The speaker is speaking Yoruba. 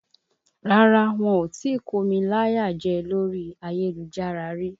Rárá, wọn ò tí kómi láyà jẹ lórí ayélujára rí